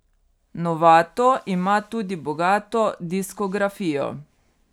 Novato ima tudi bogato diskografijo.